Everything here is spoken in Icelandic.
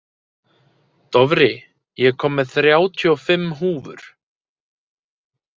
Dofri, ég kom með þrjátíu og fimm húfur!